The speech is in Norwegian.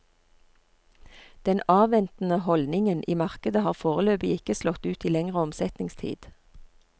Den avventende holdningen i markedet har foreløpig ikke slått ut i lengre omsetningstid.